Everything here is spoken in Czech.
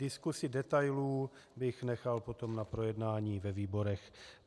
Diskusi detailů bych nechal potom na projednání ve výborech.